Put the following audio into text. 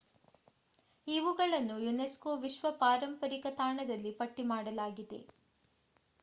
ಇವುಗಳನ್ನು ಯುನೆಸ್ಕೋ ವಿಶ್ವ ಪಾರಂಪರಿಕ ತಾಣದಲ್ಲಿ ಪಟ್ಟಿ ಮಾಡಲಾಗಿದೆ